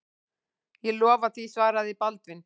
Ég lofa því, svaraði Baldvin.